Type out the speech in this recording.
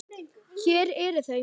Hér eru þau